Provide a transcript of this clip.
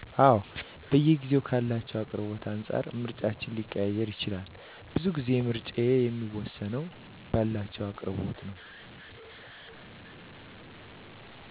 አወ በየጊዜዉ ካላቸዉ አቅርቦት አንፃር ምርጫችን ሊቀያየር ይችላል። ቡዙ ጊዜ ምረጫየ የሚወስነዉ ባላቸዉ አቅርቦት ነዉ